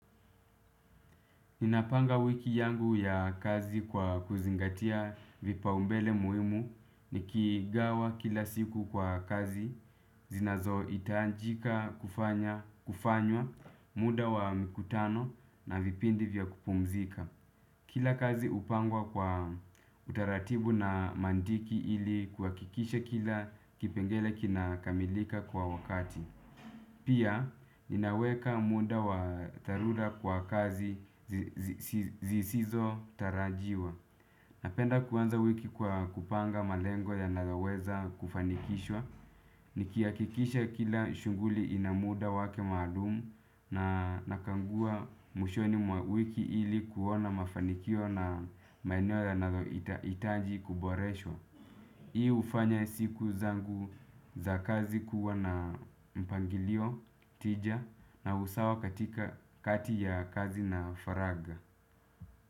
Ninapanga wiki yangu ya kazi kwa kuzingatia vipaumbele muhimu nikigawa kila siku kwa kazi zinazo hitajika kufanya kufanywa muda wa mkutano na vipindi vya kupumzika. Kila kazi hupangwa kwa utaratibu na mantiki ili kuhakikisha kila kipengele kina kamilika kwa wakati. Pia, ninaweka muda wa dharura kwa kazi zisizo tarajiwa. Napenda kuanza wiki kwa kupanga malengo yanayoweza kufanikishwa. Nikihakikisha kila shughuli ina muda wake maalum na nakagua mwishoni mwa wiki ili kuona mafanikio na maeneo yanayohitaji kuboreshwa. Hii hufanya siku zangu za kazi kuwa na mpangilio tija na usawa katika kati ya kazi na faraga.